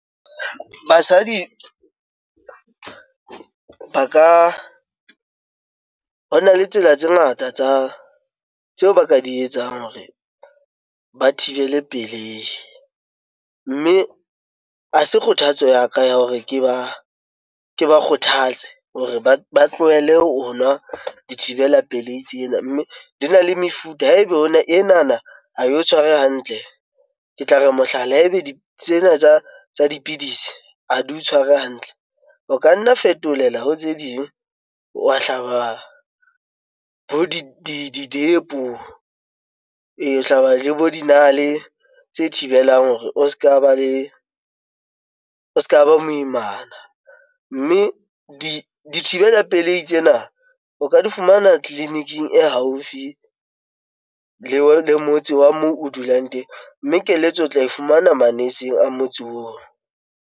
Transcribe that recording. Basadi ba ka ho na le tsela tse ngata tsa tseo ba ka di etsang hore ba thibele pelei mme ha se kgothatso ya ka ya hore ke ba ke ba kgothatse hore ba tlohele ho nwa dithibela pelei tsena mme di na le mefuta. Haeba hona ena na ha e o tshware hantle. Ke tla re mohlala haebe di tsena tsa dipidisi a di o tshware hantle, o ka nna fetolela ho tse ding wa hlaba bo depo, wa hlaba le bo dinale tse thibelang hore o se ka ba le o se ka ba moimana mme dithibela pelehi tsena o ka di fumana tleliniking e haufi le motse wa moo o dulang teng, mme keletso o tla e fumana. manese eng a motse oo.